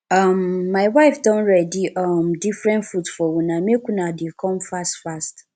um my wife don ready um different food for una make una dey come fast fast